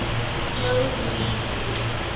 joe louis arena